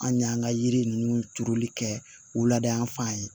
An y'an ka yiri ninnu turuli kɛ wulada fan ye